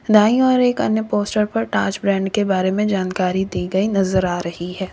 दाएं और एक अन्य पोस्ट पर ताज फ्रेंड के बारे में जानकारी दी गई नजर आ रही है।